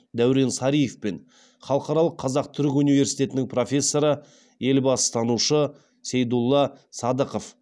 даурен сариев пен халықаралық қазақ түрік университетінің профессоры елбасытанушы сейдулла садықов